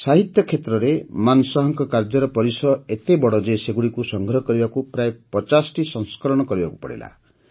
ସାହିତ୍ୟ କ୍ଷେତ୍ରରେ ମାନଶାହଙ୍କ କାର୍ଯ୍ୟର ପରିସର ଏତେ ବଡ଼ ଯେ ସେଗୁଡ଼ିକୁ ସଂଗ୍ରହ କରିବାକୁ ପ୍ରାୟ ୫୦ଟି ସଂସ୍କରଣ କରିବାକୁ ପଡ଼ିଲା